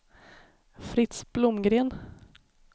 Fritz Blomgren